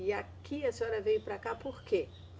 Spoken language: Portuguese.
E aqui a senhora veio para cá por quê?